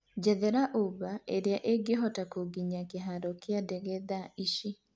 njethera uber arĩa ĩngĩhota kũnginyia kĩharo ya ndege thaa ici